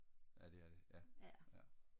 ja det er det ja ja